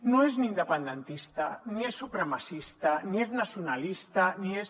no és ni independentista ni és supremacista ni és nacionalista ni és